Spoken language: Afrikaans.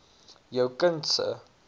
jou kind se